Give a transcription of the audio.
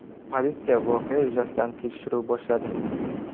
Politsiya voqea yuzasidan tekshiruv boshladi.